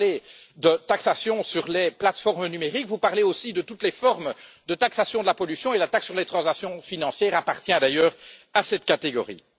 Vous parlez de taxation sur les plateformes numériques, vous parlez aussi de toutes les formes de taxation de la pollution, et la taxe sur les transactions financières appartient d'ailleurs à cette catégorie.